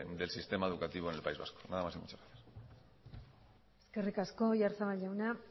del sistema educativo en el país vasco nada más y muchas gracias eskerrik asko oyarzabal jauna